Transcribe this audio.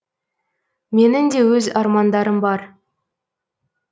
менің де өз армандарым бар